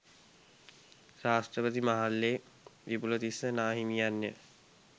ශාස්ත්‍රපති Mahalle Wipulatissa නාහිමියන්ය